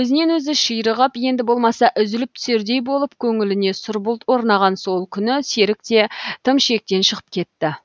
өзінен өзі ширығып енді болмаса үзіліп түсердей болып көңіліне сұр бұлт орнаған сол күні серік те тым шектен шығып кетті